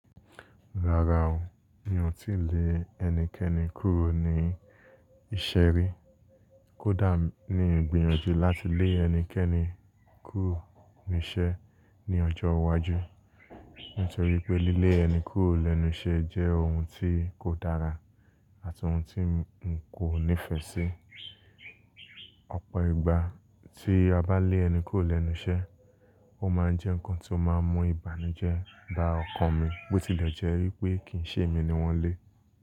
Rárá o, mi ò tí lè ẹnikẹ́ni kúrò ní ìṣe ri, kódà ní ìgbìyànjú láti lé ẹnikẹ́ni kúrò nínú iṣẹ́ ní ọjọ́ iwájú. Nítorí pé lílé ẹni kúrò lẹ́nu iṣẹ́ jẹ́ ohun tí kò dára àti ohun tí n kò nífẹ̀ẹ́ sí. Ọ̀pọ̀ ìgbà tí a bá lé ẹni kúrò lẹ́nu iṣẹ́, ó máa ń jẹ́ nǹkan tí ó máa ń mú ìbànújẹ́ bá ọkàn mi pé ó ti lẹ̀ jẹ́ wípé kì í ṣe èmi ni wọ́n lé.